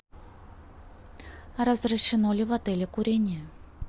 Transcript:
разрешено ли в отеле курение